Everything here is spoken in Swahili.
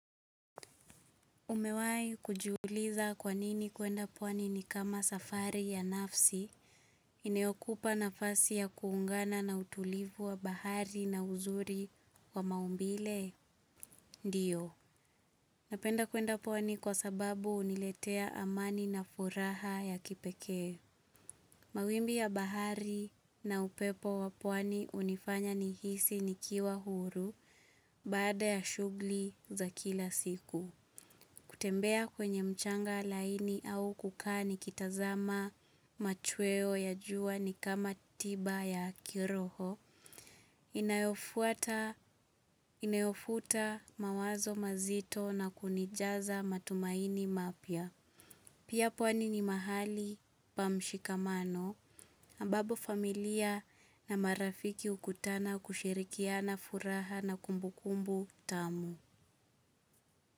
Umewahi kujuliza kwanini kwenda pwani ni kama safari ya nafsi, inayokupa nafasi ya kuungana na utulivu wa bahari na uzuri wa maumbile? Ndio. Napenda kwenda pwani kwa sababu huniletea amani na furaha ya kipekee. Mawimbi ya bahari na upepo wa pwani hunifanya nihisi nikiwa huru baada ya shughuli za kila siku. Kutembea kwenye mchanga laini au kukaa nikitazama machweo ya jua ni kama tiba ya kiroho, inayofuta mawazo mazito na kunijaza matumaini mapya. Pia pwani ni mahali pa mshikamano, ambabo familia na marafiki hukutana kushirikiana furaha na kumbukumbu tamu.